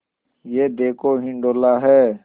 यह देखो हिंडोला है